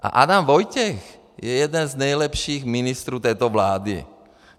A Adam Vojtěch je jeden z nejlepších ministrů této vlády.